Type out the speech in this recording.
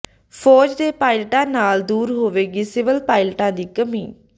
ਫ਼ੌਜ ਦੇ ਪਾਇਲਟਾਂ ਨਾਲ ਦੂਰ ਹੋਵੇਗੀ ਸਿਵਲ ਪਾਇਲਟਾਂ ਦੀ ਕਮੀ